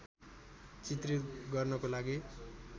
चित्रित गर्नको लागि